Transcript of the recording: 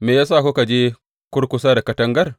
Me ya sa kuka je kurkusa da katangar?’